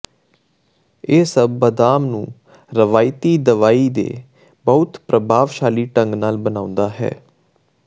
ਇਹ ਸਭ ਬਦਾਮ ਨੂੰ ਰਵਾਇਤੀ ਦਵਾਈ ਦੇ ਬਹੁਤ ਪ੍ਰਭਾਵਸ਼ਾਲੀ ਢੰਗ ਨਾਲ ਬਣਾਉਂਦਾ ਹੈ